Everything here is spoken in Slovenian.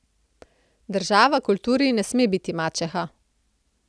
Država kulturi ne sme biti mačeha.